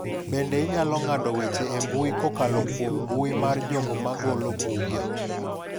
Bende inyalo ng’ado weche e mbui kokalo kuom mbui mar jogo ma golo buge.